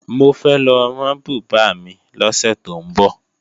Mo fẹ́ lọ rán bùbá mi lọ́sẹ̀ tó ń bọ̀